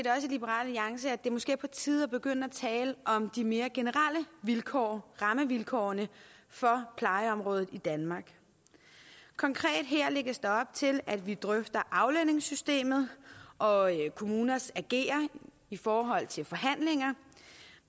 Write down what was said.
liberal alliance at det måske er på tide at begynde at tale om de mere generelle vilkår rammevilkårene for plejeområdet i danmark konkret her lægges der op til at vi drøfter aflønningssystemet og kommuners ageren i forhold til forhandlinger